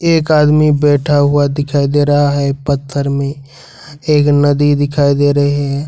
एक आदमी बैठा हुआ दिखाई दे रहा है पत्थर में एक नदी दिखाई दे रही है।